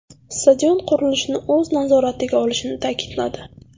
Stadion qurilishini o‘z nazoratiga olishini ta’kidladi.